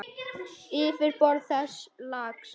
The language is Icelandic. Yfirborð þessa lags